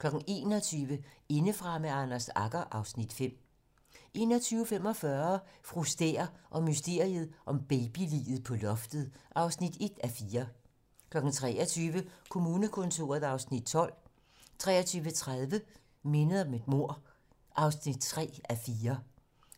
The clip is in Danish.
21:00: Indefra med Anders Agger (Afs. 5) 21:45: Fru Stæhr og mysteriet om babyliget på loftet (1:4) 23:00: Kommunekontoret (Afs. 12) 23:30: Mindet om et mord (3:4)